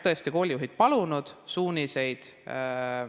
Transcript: Tõesti, koolijuhid on palunud suuniseid.